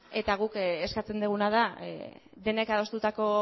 eta guk eskatzen duguna da denek adostutako